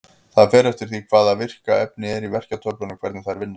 Það fer eftir því hvaða virka efni er í verkjatöflunum hvernig þær vinna.